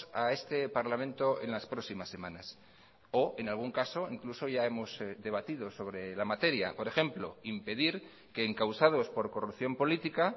a este parlamento en las próximas semanas o en algún caso incluso ya hemos debatido sobre la materia por ejemplo impedir que encausados por corrupción política